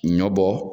Ɲɔ bɔ